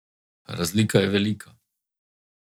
Razlika je velika.